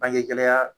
Bangegɛlɛya